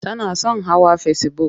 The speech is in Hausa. Tana son hawa fesibuk.